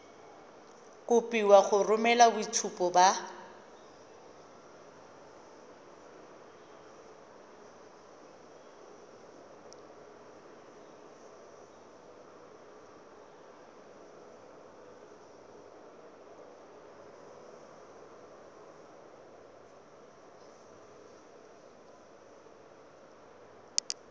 kopiwa go romela boitshupo ba